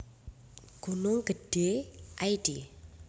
Gunung Gedhé id